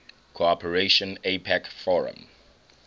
cooperation apec forum